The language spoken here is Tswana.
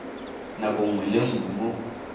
nako nngwe le nngwe mo